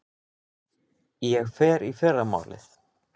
Ég fer í fyrramálið.